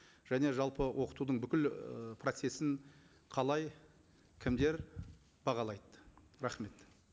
және жалпы оқытудың бүкіл і процессін қалай кімдер бағалайды рахмет